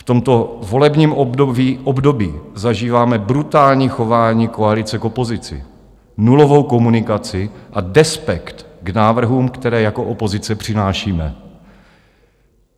V tomto volebním období zažíváme brutální chování koalice k opozici, nulovou komunikaci a despekt k návrhům, které jako opozice přinášíme.